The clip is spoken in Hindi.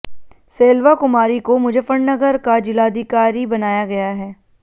सेल्वा कुमारी को मुजफ्फरनगर का जिलाधिकारी बनाया गया है